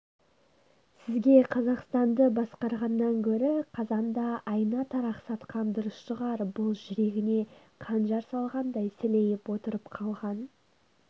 сізге қазақстанды басқарғаннан гөрі қазанда айна-тарақ сатқан дұрыс шығар бұл жүрегіне қанжар салғандай сілейіп отырып қалған